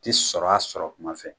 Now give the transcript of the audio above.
Ti sɔrɔ a sɔrɔ tuma fɛ